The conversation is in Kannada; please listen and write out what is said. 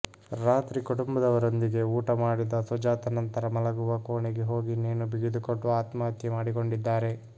ರಾತ್ರಿ ಕುಟುಂಬದವರೊಂದಿಗೆ ಊಟ ಮಾಡಿದ ಸುಜಾತ ನಂತರ ಮಲಗುವ ಕೋಣೆಗೆ ಹೋಗಿ ನೇಣು ಬಿಗಿದುಕೊಂಡು ಆತ್ಮಹತ್ಯೆ ಮಾಡಿಕೊಂಡಿದ್ದಾರೆ